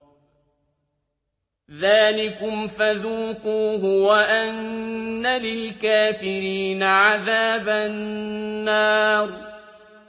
ذَٰلِكُمْ فَذُوقُوهُ وَأَنَّ لِلْكَافِرِينَ عَذَابَ النَّارِ